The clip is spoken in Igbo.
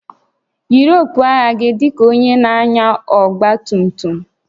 Yiri okpu agha gị dị ka onye na-anya ọgba tum tum!